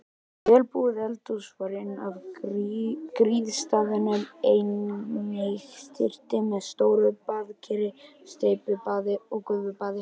Vel búið eldhús var inn af griðastaðnum, einnig snyrting með stóru baðkeri, steypibaði og gufubaði.